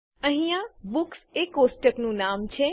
અહીંયા બુક્સ એ કોષ્ટકનું નામ છે